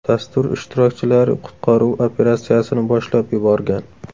Dastur ishtirokchilari qutqaruv operatsiyasini boshlab yuborgan.